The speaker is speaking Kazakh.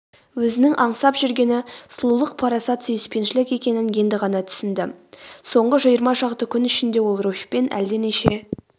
өзінің аңсап жүргені сұлулық парасат сүйіспеншілік екенін енді ғана түсінді ол.соңғы жиырма шақты күн ішінде ол руфьпен әлденеше